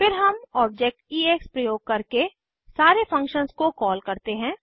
फिर हम object ex प्रयोग करके सारे फंक्शन्स को कॉल करते हैं